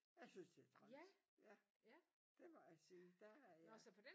Jeg synes det er træls ja det må jeg bare sige der har jeg